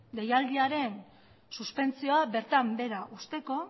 deialdiaren suspentsioa bertan behera uzteko